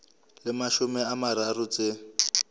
le mashome a mararo tse